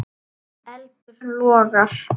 Eldur logar.